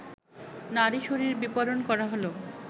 নারীশরীর বিপণন করা হল